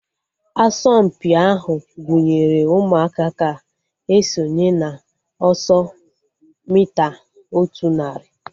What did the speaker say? Asọmpi ahu gụnyere ụmụaka ga-esonye na ọsọ mita otu narị